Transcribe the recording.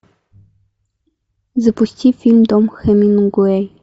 запусти фильм дом хемингуэй